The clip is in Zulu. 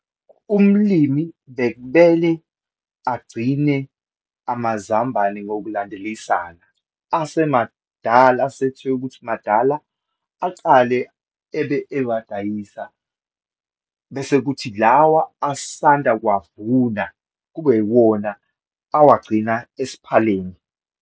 Umlimi bekubele agcine amazambane ngokulandelisana. Asemadala, asethe ukuthi madala acale ebe ewa dayisa, bese kuthi lawa asanda kuwavuna kube iwona awagcina esiphaleni.